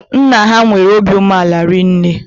Nna ha nwere óbị umeala rinne